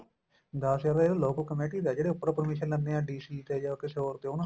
ਦਸ ਹਜਾਰ ਤਾਂ ਇਹ local committee ਦਾ ਜਿਹੜੇ ਉਪਰੋ commission ਲੈਂਦੇ ਏ DC ਤੇ ਜਾਂ ਕਿਸੇ ਹੋਰ ਤੇ